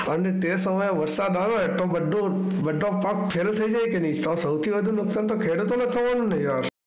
અને તે સમયે વરસાદ આવે તો બધો તો બધો પાક Fail થઈ જાય કે નહિ? તો સૌથી વધુ નુકસાન તો ખેડૂતોને જ થવાનું ને યાર.